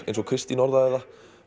eins og Kristín orðaði það